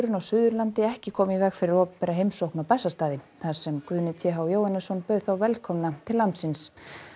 á Suðurlandi ekki koma í veg fyrir opinbera heimsókn á Bessastaði þar sem Guðni t h Jóhannesson bauð þau velkomin til landsins